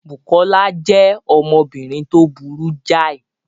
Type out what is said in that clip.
Bùkọ́lá jẹ́ ọmọbìnrin tó burú jáì